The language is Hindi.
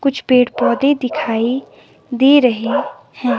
कुछ पेड़ पौधे दिखाई दे रहे हैं।